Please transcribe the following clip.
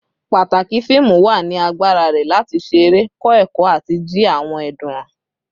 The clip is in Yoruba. Pataki fiimu wa ni agbara rẹ lati ṣe ere, kọ ẹkọ, ati ji awọn ẹdun han